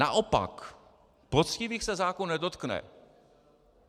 Naopak, poctivých se zákon nedotkne.